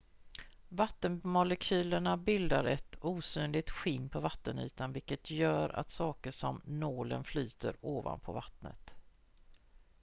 "vattenmolekylerna bildar ett osynligt "skinn" på vattenytan vilket gör att saker som nålen flyter ovanpå vattnet.